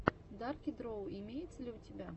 дарки дроу имеется ли у тебя